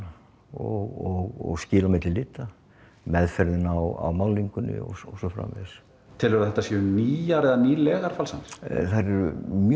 og skil á milli lita meðferðin á málningunni og svo framvegis telurðu að þetta séu nýjar eða nýlegar falsanir þær eru mjög